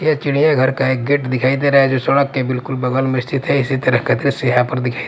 ये चिड़ियाघर का एक गेट दिखाई दे रहा है जो सड़क के बिल्कुल बगल में स्थित है इसी तरह यहां पर दिखाई--